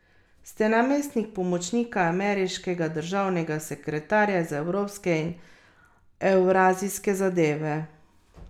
Ste namestnik pomočnika ameriškega državnega sekretarja za evropske in evrazijske zadeve.